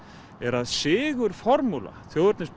er að sigurformúla þjóðernis